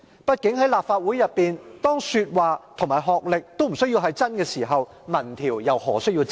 畢竟在立法會內，當說話和學歷均無須是真實時，民意調查又何須真實？